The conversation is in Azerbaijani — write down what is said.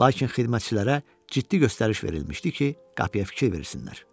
Lakin xidmətçilərə ciddi göstəriş verilmişdi ki, qapıya fikir versinlər.